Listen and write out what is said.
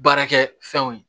Baarakɛ fɛnw ye